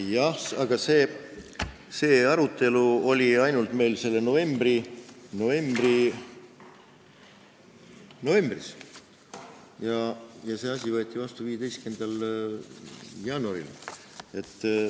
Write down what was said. Jah, aga see arutelu oli meil novembris, see asi võeti vastu 15. jaanuaril.